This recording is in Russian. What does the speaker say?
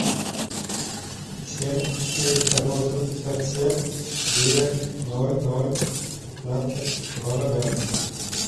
семь четыреста восемьдесят семь девять ноль ноль пятнадцать два ноля